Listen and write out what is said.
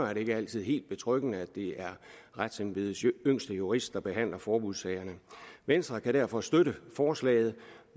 er det ikke altid helt betryggende at det er retsembedets yngste jurist der behandler forbudssagerne venstre kan derfor støtte forslaget